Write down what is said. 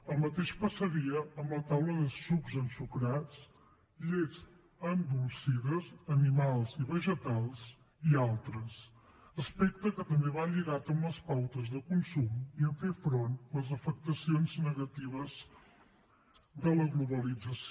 el mateix passaria amb la taula de sucs ensucrats llets endolcides animals i vegetals i altres aspecte que també va lligat amb les pautes de consum i a fer front a les afectacions negatives de la globalització